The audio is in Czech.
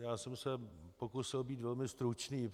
Já jsem se pokusil být velmi stručný.